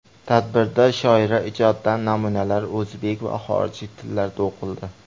Tadbirda shoira ijodidan namunalar o‘zbek va xorijiy tillarda o‘qildi.